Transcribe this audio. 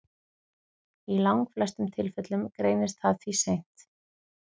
Í langflestum tilfellum greinist það því seint.